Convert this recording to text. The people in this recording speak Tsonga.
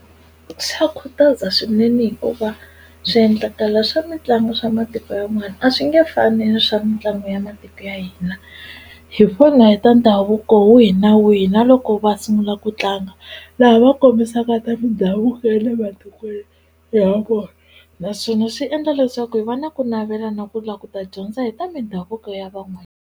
Xa khutaza swinene hikuva swiendlakalo swa mitlangu swa matiko yan'wana a swi nge fani swa mitlangu ya matiko ya hina hi vona hi ta ndhavuko wihi na wihi na loko va sungula ku tlanga laha va kombisaka ta ndhavuko ya le matikweni ya ha vona naswona swi endla leswaku hi va na ku navela na ku la ku ta dyondza hi ta mindhavuko ya .